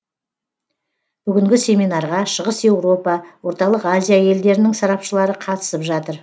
бүгінгі семинарға шығыс еуропа орталық азия елдерінің сарапшылары қатысып жатыр